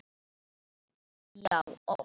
Já, oft.